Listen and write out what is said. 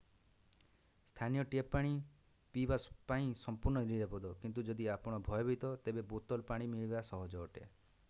ସ୍ଥାନୀୟ ଟ୍ୟାପ୍ ପାଣି ପିଇବା ପାଇଁ ସମ୍ପୂର୍ଣ୍ଣ ନିରାପଦ କିନ୍ତୁ ଯଦି ଆପଣ ଭୟଭୀତ ତେବେ ବୋତଲ ପାଣି ମିଳିବା ସହଜ ଅଟେ